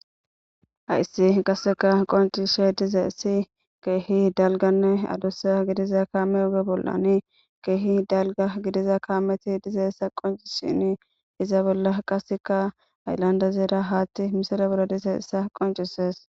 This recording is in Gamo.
hayssi qasseka qoncishe dize issi keehi dalganne adussa gidiza kaame oge bollani keehi dalga gidiza kaameti diza ssa qoncisini iza bolla qaseka ayllanda zeera haatti misile bollo dize issa qoncises